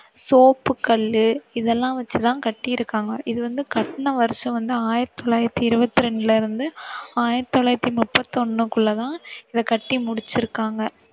சோப்புக்கல்லு இதெல்லாம் வச்சு தான் கட்டிருக்காங்க. இது வந்து கட்டுன வருஷம் வந்து ஆயிரத்தி தொள்ளாயிரத்தி இருவத்தி ரெண்டுல இருந்து ஆயிரத்தி தொள்ளாயிரத்தி முப்பத்தி ஒண்ணுக்குள்ள தான் இதை கட்டி முடிச்சிருக்காங்க.